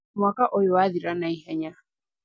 Mwaka ũyũ wathira naihenya